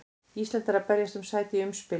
Ísland er að berjast um sæti í umspili.